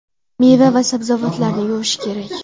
Meva va sabzavotlarni yuvish kerak.